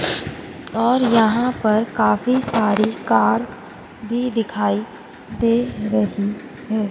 और यहां पर काफी सारी कार भी दिखाई दे रही है।